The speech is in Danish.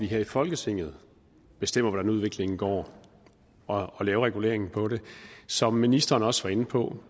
her i folketinget bestemmer hvordan udviklingen går og laver reguleringen på det som ministeren også var inde på